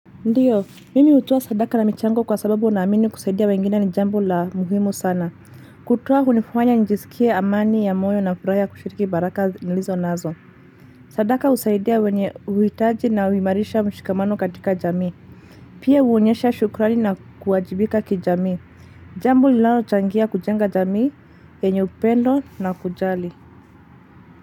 Ndiyo, mimi hutoa sadaka na michango kwa sababu ninaamini kusaidia wengine ni jambo la muhimu sana. Kutoa hunifanya nijisikie amani ya moyo na furaha ya kushiriki baraka nilizonazo. Sadaka husaidia wenye huhitaji na huimarisha mshikamano katika jamii. Pia huonyesha shukrani na kuwajibika kijamii. Jambo linalochangia kujenga jamii yenye upendo na kujali.